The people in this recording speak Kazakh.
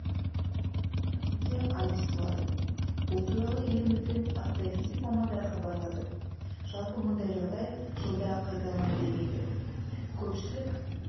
түнде ай тұтылады бұл туралы еліміздің астрофизик мамандары хабарлады жалпы мұндай жағдай жылда қайталана бермейді көпшілік